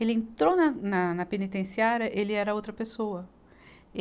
Ele entrou na, na, na penitenciária, ele era outra pessoa.